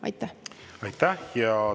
Aitäh!